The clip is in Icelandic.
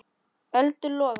Eldur logar.